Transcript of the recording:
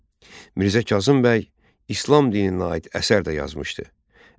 Mirzə Kazım bəy İslam dininə aid əsər də yazmışdı.